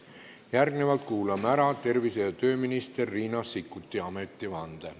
Järgnevalt kuulame ära tervise- ja tööminister Riina Sikkuti ametivande.